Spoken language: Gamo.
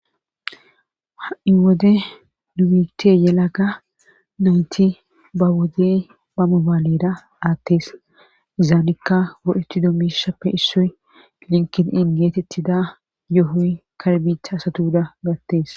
Ha'in wode duite yelaga nayti ba wode ba mobaalera aattes izaanikka go7eti dommishappe issoy linkin in geetettida yoohoy karbiicha asatuuda gattes